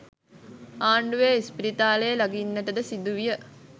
ආණ්ඩුවේ ඉස්පිරිතාලේ ලඟින්නට ද සිදුවිය.